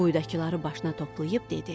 Quyudakıları başına toplayıb dedi.